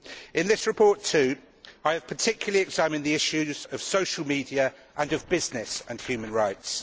In this report, too, I have particularly examined the issues of social media and of business and human rights.